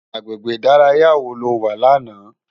Agbégbé idàráyá wó ló wá làná?